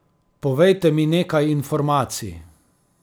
Povejte mi nekaj informacij.